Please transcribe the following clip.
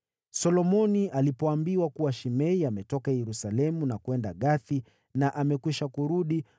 Solomoni alipoambiwa kuwa Shimei ametoka Yerusalemu na kwenda Gathi na amekwisha kurudi,